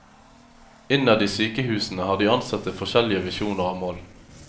Innad i sykehusene har de ansatte forskjellige visjoner og mål.